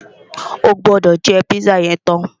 O gbọ́dọ̀ jẹ́ pízà yẹn tán!